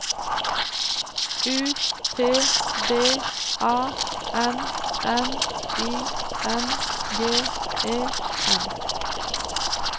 U T D A N N I N G E N